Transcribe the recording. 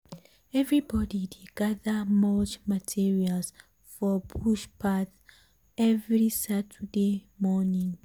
everybody dey gather mulch materials for bush path every saturday morning.